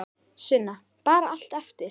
Sunna: Bara allt eftir?